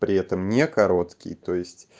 при этом не короткий то есть